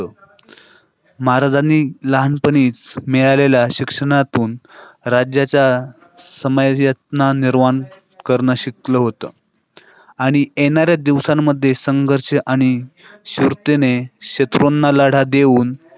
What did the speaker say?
नरवण करणं शक्य होतं. आणि येणार दिवसांमध्ये संघर्ष आणि शर्तीने शत्रूंना लढा देऊनना